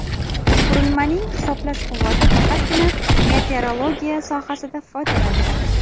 Qurilmaning hisoblash quvvati faqatgina meteorologiya sohasida foydalaniladi.